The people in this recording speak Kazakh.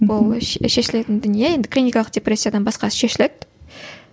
ол шешілетін дүние енді клиникалық депрессиядан басқасы шешіледі